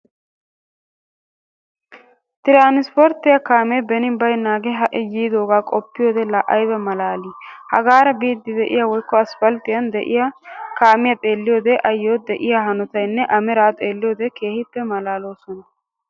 Tiransporttiyaa kaamee beni baynnagee ha"i yiidagaa qoppiyoode la ayba malaalii? Hagaara biidi be'iyoo woykko asppalttiyaan de'iyaa keemiyaa xeelliyoode ayo lo"ii! ayoo de'iyaa hanootanne a meraa xeelliyoode keehippe malaloosona.